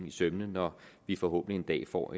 i sømmene når vi forhåbentlig en dag får